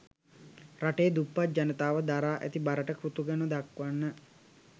රටේ දුප්පත් ජනතාව දරා ඇති බරට කෘතගුණ දක්වන්න